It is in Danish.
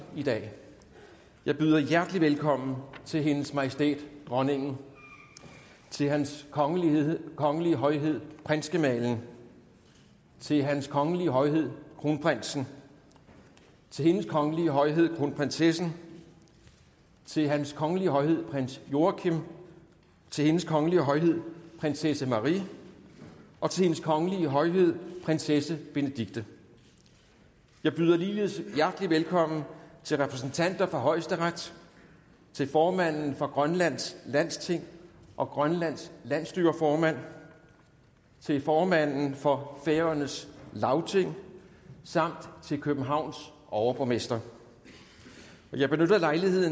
i dag jeg byder hjertelig velkommen til hendes majestæt dronningen til hans kongelige kongelige højhed prinsgemalen til hans kongelige højhed kronprinsen til hendes kongelige højhed kronprinsessen til hans kongelige højhed prins joachim til hendes kongelige højhed prinsesse marie og til hendes kongelige højhed prinsesse benedikte jeg byder ligeledes hjertelig velkommen til repræsentanter for højesteret til formanden for grønlands landsting og grønlands landsstyreformand til formanden for færøernes lagting samt til københavns overborgmester jeg benytter lejligheden